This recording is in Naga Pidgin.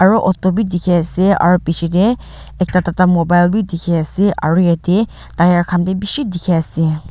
aro auto bi dikhiase aro bichae tae ekta tata mobile bi dikhiase aro yatae tyre khan bi bishi dikhiase.